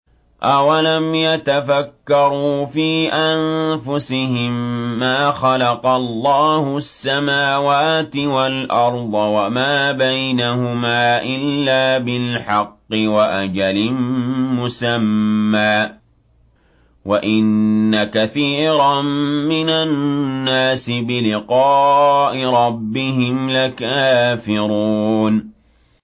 أَوَلَمْ يَتَفَكَّرُوا فِي أَنفُسِهِم ۗ مَّا خَلَقَ اللَّهُ السَّمَاوَاتِ وَالْأَرْضَ وَمَا بَيْنَهُمَا إِلَّا بِالْحَقِّ وَأَجَلٍ مُّسَمًّى ۗ وَإِنَّ كَثِيرًا مِّنَ النَّاسِ بِلِقَاءِ رَبِّهِمْ لَكَافِرُونَ